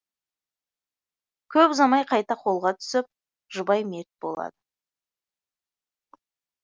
көп ұзамай қайта қолға түсіп жұбай мерт болады